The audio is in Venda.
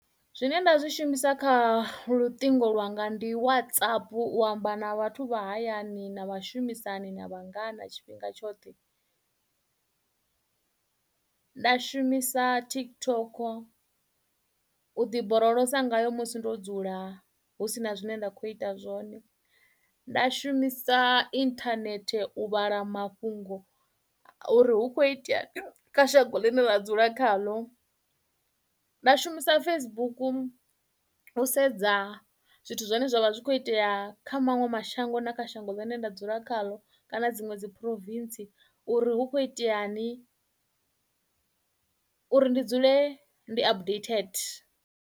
Zwine nda zwi shumisa kha luṱingo lwanga ndi WhatsApp u amba na vhathu vha hayani na vhashumisani na vhangana tshifhinga tshoṱhe. Nda shumisa TikTok u ḓiborolosa ngayo musi ndo dzula hu sina zwine nda kho ita zwone nda shumisa inthanethe u vhala mafhungo uri hu kho itea kha shango ḽine nda dzula khaḽo nda shumisa Facebook u sedza zwithu zwine zwavha zwi kho itea kha maṅwe mashango na kha shango ḽine nda dzula khaḽo kana dziṅwe dzi province uri hu kho itea ni uri ndi dzule ndi updated.